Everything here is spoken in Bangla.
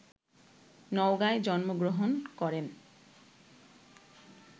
নওগাঁয় জন্ম গ্রহণ করেন